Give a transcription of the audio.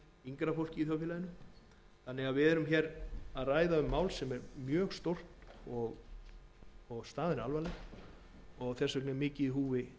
þá fyrst og fremst yngra fólk þannig að málið er mjög stórt og staðan alvarleg og þess vegna er mikið í húfi